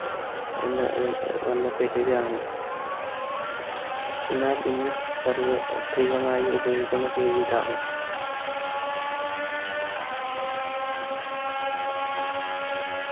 എന്ന് വന്ന പേരാണ് എന്നാൽ ഇന്ന് സർവ്വത്രികമായി ഉപയോഗിക്കുന്ന പേര് ഇതാണ്